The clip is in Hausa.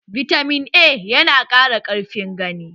Bitamin A ya na ƙara ƙarfin gani